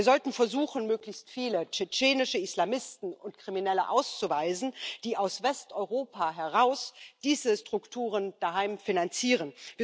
Wir sollten versuchen, möglichst viele tschetschenische Islamisten und Kriminelle auszuweisen, die aus Westeuropa heraus diese Strukturen daheim finanzieren.